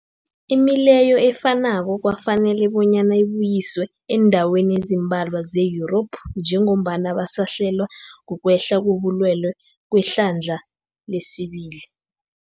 Imileyo efanako kwafanela bonyana ibuyiswe eendaweni ezimbalwa ze-Yurophu njengombana basahlelwa, kukwehla kobulwele kwehlandla lesibili.